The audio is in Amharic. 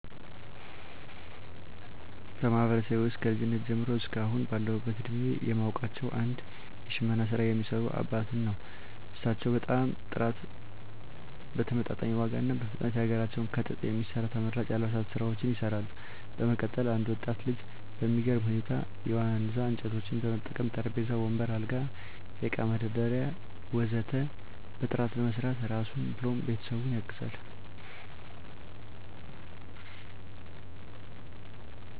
በማህበረሰቤ ውስጥ ከልጅነቴ ጀምሮ እስከ አሁን ባለሁበት እድሜየ የማውቃቸው አንድ የሽመና ስራ የሚሰሩ አባትን ነው። እሳቸው በጣም በጥራት በተመጣጣኝ ዋጋ እና በፍጥነት የሀገራችንን ከጥጥ የሚሰራ ተመራጭ የአልባሳት ስራዎችን ይሰራሉ። በመቀጠል አንድ ወጣት ልጅ በሚገርም ሁኔታ የዋነዛ እንጨቶችን በመጠቀም ጠረጴዛ፣ ወንበር፣ አልጋ፣ የእቃ መደርደሪያ ወ.ዘ.ተ በጥራት በመስራት ራሱን ብሎም ቤተሰቡን ያግዛል።